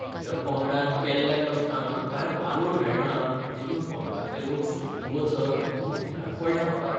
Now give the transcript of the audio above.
म्हज्या पंगडान केल्ल्या कश्टांक कांय वालोर मेळना देखून पंगडांतले लोक सोडून वचत म्हूण भिरांत पडल्या म्हाका.